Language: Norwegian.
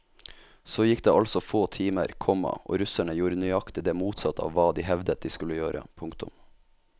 Så gikk det altså få timer, komma og russerne gjorde nøyaktig det motsatte av hva de hevdet de skulle gjøre. punktum